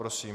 Prosím.